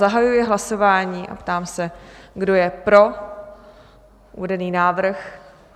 Zahajuji hlasování a ptám se, kdo je pro uvedený návrh?